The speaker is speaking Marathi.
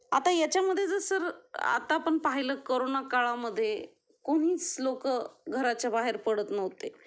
आता त्याच्या मध्ये सर आता आपण पाहिलं करोना काळा मध्ये कोणीच लोक घराच्या बाहेर पडत नव्हते